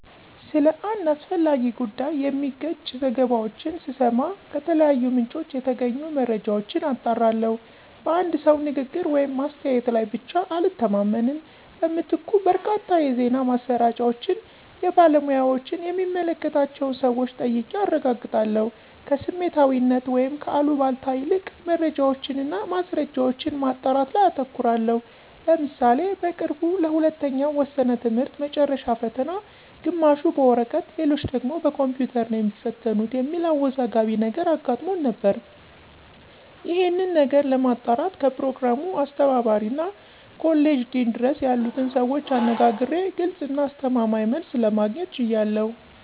ስለ አንድ አስፈላጊ ጉዳይ የሚጋጭ ዘገባዎችን ስሰማ ከተለያዩ ምንጮች የተገኙ መረጃዎችን አጣራለሁ። በአንድ ሰው ንግግር ወይም አስተያየት ላይ ብቻ አልተማመንም። በምትኩ በርካታ የዜና ማሰራጫዎችን፣ የባለሙያዎችን የሚመለከታቸውን ሰወች ጠይቄ አረጋግጣለሁ። ከስሜታዊነት ወይም ከአሉባልታ ይልቅ መረጃዎችን እና ማስረጃዎችን ማጣራት ላይ አተኩራለሁ። ለምሳሌ በቅርቡ ለሁለተኛው ወሰነ ትምህርት መጨረሻ ፈተና ግማሹ በወረቀት ሌሎች ደግሞ በኮምፒውተር ነው የሚትፈተኑት የሚል አወዛጋቢ ነገር አጋጥሞን ነበር። ይሄንን ነገር ለማጣራት ከፕሮግራሙ አስተባባሪ እስከ ኮሌጅ ዲን ድረስ ያሉትን ሰዎች አነጋግሬ ግልጽ እና አስተማማኝ መልስ ለማግኘት ችያለሁ።